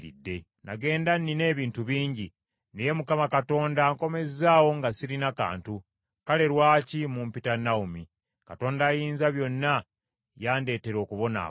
Nagenda nnina ebintu bingi, naye Mukama Katonda ankomezzaawo nga sirina kantu, kale lwaki mumpita Nawomi? Mukama ambonerezza. Ayinzabyonna yandeetera okubonaabona.”